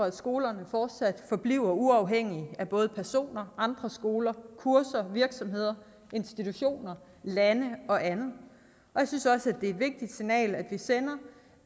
at skolerne fortsat forbliver uafhængige af både personer andre skoler kurser virksomheder institutioner lande og andet jeg synes også at er et vigtigt signal vi sender